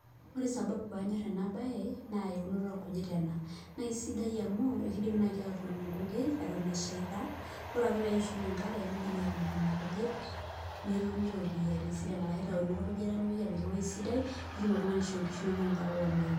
ore sababu pee anyor ena baye naa eunoto oo ingujit ena naa kisidai amu, kidimi naaji atudung inkujit eton esheita, netumi iropiyiani sidan ashu itayuni olkujita, nepoi apik eweji sidai nitum oltungani aishoo inkishu inonok.